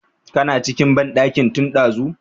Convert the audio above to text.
Kana cikin bandankin tun dazu?